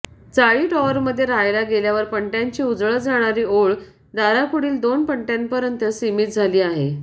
चाळी टॉवरमध्ये राहायला गेल्यावर पणत्यांची उजळत जाणारी ओळ दारापुढील दोन पणत्यांपर्यंत सीमित झाली आहे